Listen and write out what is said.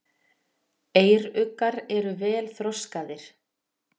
Eyruggar eru vel þroskaðir.